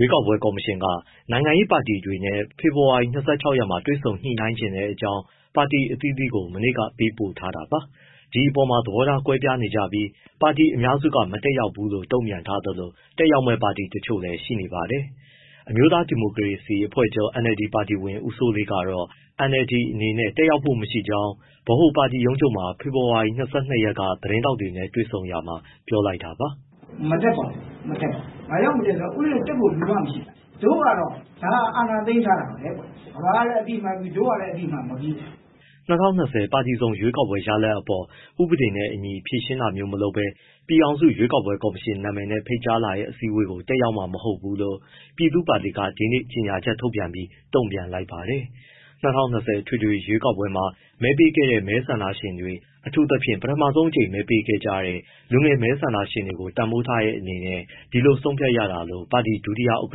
ွေးကောက်ပွဲကော်မရှင်က နိုင်ငံရေးပါတီတွေနဲ့ ဖေဖော်ဝါရီ ၂၆ ရက်မှာ တွေ့ဆုံညှိနှိုင်းချင်တဲ့အကြောင်း ပါတီအသီးသီးကို မနေ့ကပေးပို့ထားတာပါ။ ဒီပေါ်မှာ သဘောထားကွဲပြားနေကြပြီး ပါတီအများစုက မတက်ရောက်ဘူးလို့ တုံ့ပြန်ထားသလို၊ တက်ရောက်မယ့်ပါတီတချို့လည်း ရှိနေပါတယ်။ အမျိုးသား ဒီမိုကရေစီအဖွဲ့ချုပ် NLD ပါတီဝင် ဦးစိုးလေးကတော့ NLD အနေနဲ့ တက်ရောက်ဖို့မရှိကြောင်း ဗဟိုပါတီရုံးချုပ်မှာ ဖေဖော်ဝါရီ ၂၂ ရက်က သတင်းထောက်တွေနဲ့ တွေ့ဆုံရာမှာ ပြောလိုက်တာပါ။ “မတက်ပါဘူး၊ မတက်ဘူး၊ ဘာကြောင့်မတက်လဲဆိုတော့ တက်ဖို့ လူမှမရှိတာ။ တို့ကတော့၊ ဒါက အာဏာသိမ်းထားတာပဲကွဲ့။ ကမ္ဘာကလည်း အသိအမှတ်မပြုဘူး၊ တို့ကလည်း အသိအမှတ်မပြုဘူး။” ၂၀၂၀ ပါတီစုံရွေးကောက်ပွဲ ရလဒ်အပေါ် ဥပဒေနဲ့အညီ ဖြေရှင်းတာမျိုး မလုပ်ဘဲ ပြည်ထောင်စု ရွေးကောက်ပွဲကော်မရှင်နာမည်နဲ့ ဖိတ်ကြားလာတဲ့ အစည်းအဝေးကို တက်ရောက်မှာ မဟုတ်ဘူးလို့ ပြည်သူ့ပါတီက ဒီနေ့ ကြေညာချက်ထုတ်ပြီး တုံ့ပြန်လိုက်ပါတယ်။ ၂၀၂၀ အထွေထွေရွေးကောက်ပွဲမှာ မဲပေးခဲ့တဲ့ မဲဆန္ဒရှင်တွေ အထူးသဖြင့် ပထမဆုံးအကြိမ် မဲပေးခဲ့ကြတဲ့ လူငယ်မဲဆန္ဒရှင်တွေကို တန်ဖိုးထားတဲ့အနေနဲ့ ဒီလိုဆုံးဖြတ်ရတာလို့ ပါတီဒုတိယ ဥက္က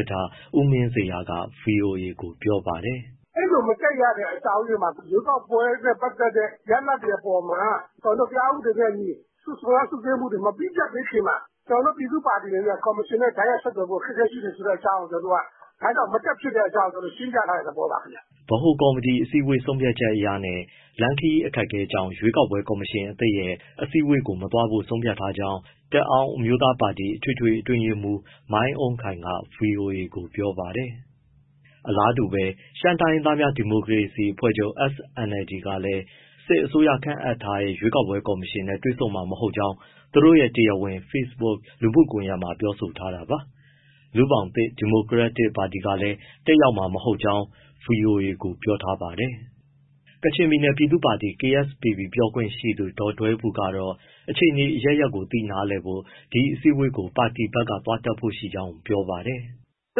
ဋ္ဌ ဦးမင်းဇေယျက ဗွီအိုအေကို ပြောပါတယ်။ “အဲဒီလို မတက်ရတဲ့ အကြောင်းအရင်းမှာ ရွေးကောက်ပွဲနဲ့ ပတ်သက်တဲ့ ရလဒ်တွေ အပေါ်မှာ တရားဥပဒေနဲ့အညီ စွပ်စွဲ စစ်ဆေးမှုတွေ မပြီးပြတ်သေးခင်မှာ ကျနော်တို့ ပြည်သူ့ပါတီအနေနဲ့ ကော်မရှင်နဲ့ တိုက်ရိုက်ဆက်သွယ်ဖို့ အခက်အခဲရှိတယ် ဆိုတဲ့အကြောင်း ကျနော်တို့က၊ ဒါကြောင့် မတက်ဖြစ်တဲ့အကြောင်း ရှင်းပြတဲ့သဘောပါခင်ဗျ။” ဗဟိုကော်မတီ အစည်းအဝေး ဆုံးဖြတ်ချက်အရနဲ့ လမ်းခရီးအခက်အခဲကြောင့် ရွေးကောက်ပွဲကော်မရှင်သစ်ရဲ့ အစည်းအဝေးကို မသွားဖို့ ဆုံးဖြတ်ထားကြောင်း တအောင်း အမျိုးသားပါတီ အထွေထွေအတွင်းရေးမှူး မိုင်းအုဏ်းခိုင်က ဗွီအိုအေကို ပြောပါတယ်။ အလားတူပဲ ရှမ်းတိုင်းရင်းသားများ ဒီမိုကရေစီအဖွဲ့ချုပ် SNLD ကလည်း စစ်အစိုးရခန့်အပ်ထားတဲ့ ရွေးကောက်ပွဲကော်မရှင်နဲ့ တွေ့ဆုံမှာမဟုတ်ကြောင်း သူတို့ရဲ့ တရားဝင် Facebook လူမှုကွန်ရက်မှာ ပြောဆိုထားတာပါ။ လူ့ဘောင်သစ် ဒီမိုကရက်တစ်ပါတီကလည်း တက်ရောက်မှာမဟုတ်ဘူးလို့ ဗွီအိုအေကို ပြောထားပါတယ်။ ကချင်ပြည်နယ် ပြည်သူ့ပါတီ KSPP ပြောရေးဆိုခွင့်ရှိသူ ဒေါ်ဒွဲဘူကတော့ အခြေနေအရပ်ရပ်ကို သိနားလည်ဖို့ ဒီအစည်းအဝေးကို ပါတီဘက်က သွားတက်ဖို့ရှိကြောင်း ပြောပါတယ်။ “သူ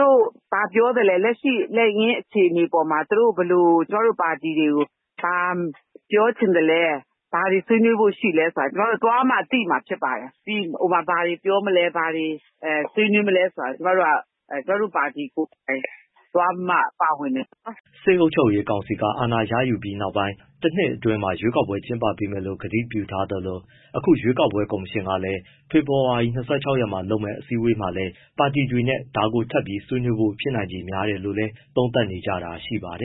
တို့ဘာပြောသလဲ၊ လက်ရှိလက်ငင်း အခြေအနေအပေါ်မှာ သူတို့ဘယ်လို ကျမတို့ပါတီတွေကို ဘာပြောချင်သလဲ၊ ဘာတွေ ဆွေးနွေးဖို့ရှိသလဲဆိုတာ ကျမတို့ သွားမှသိမှာ ဖြစ်ပါတယ်။ ဘာတွေပြောမလဲ၊ ဘာတွေဆွေးနွေးမလဲဆိုတာ ကျမတို့က ကျမတို့ပါတီကိုယ်တိုင် သွားပြီးမှ ပါဝင်မယ်ပေါ့နော်။” စစ်အုပ်ချုပ်ရေးကောင်စီက အာဏာရယူပြီးနောက်ပိုင်း တနှစ်အတွင်းရွေးကောက်ပွဲ ပြန်ကျင်းပပေးမယ်လို့ ကတိပြုထားသလို အခုရွေးကောက်ပွဲ ကော်မရှင်ကလည်း ဖေဖော်ဝါရီ ၂၆ ရက်မှာလုပ်မယ့် အစည်းအဝေးမှာလည်း ပါတီတွေနဲ့ ဒါကိုထပ်ပြီး ဆွေးနွေးဖို့ ဖြစ်နိုင်ခြေများတယ်လို့ သုံးသပ်နေကြတာလည်း ရှိပါတယ